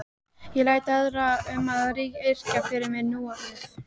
Ég læt aðra um að yrkja fyrir mig núorðið.